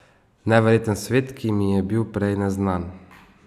Neverjeten svet, ki mi je bil prej neznan.